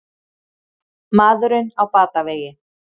Maðurinn á batavegi